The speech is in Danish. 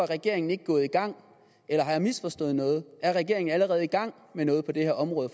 regeringen ikke gået i gang eller har jeg misforstået noget er regeringen allerede i gang med noget på det her område